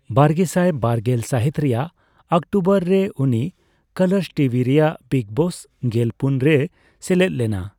ᱵᱟᱨᱜᱮᱥᱟᱭ ᱵᱟᱨᱜᱮᱞ ᱥᱟᱹᱦᱤᱛ ᱨᱮᱭᱟᱜ ᱚᱠᱴᱳᱵᱱᱚᱨ ᱨᱮ ᱩᱱᱤ ᱠᱟᱞᱟᱨᱥ ᱴᱤᱵᱷᱤ ᱨᱮᱭᱟᱜ ᱵᱤᱜᱽ ᱵᱚᱥ ᱜᱮᱞ ᱯᱩᱱ ᱨᱮᱭ ᱥᱮᱞᱮᱫ ᱞᱮᱱᱟ ᱾